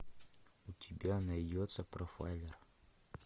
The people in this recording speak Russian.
у тебя найдется профайлер